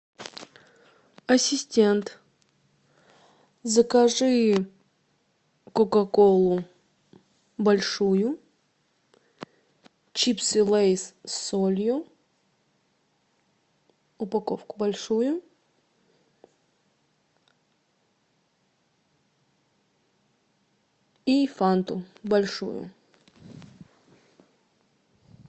ассистент закажи кока колу большую чипсы лейс с солью упаковку большую и фанту большую